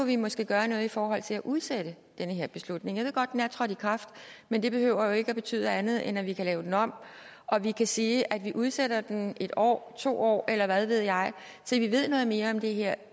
vi måske gøre noget i forhold til at udsætte den her beslutning jeg ved godt at den er trådt i kraft men det behøver jo ikke at betyde andet end at vi kan lave den om vi kan sige at vi udsætter den en år to år eller hvad ved jeg til vi ved noget mere om det her